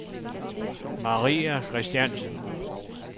Maria Christiansen